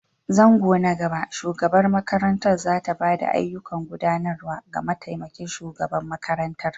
Zango na gaba, shugabar makarantar za ta ba da ayyukan gudanarwa ga mataimakin shugaban makarantar.